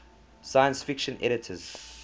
science fiction editors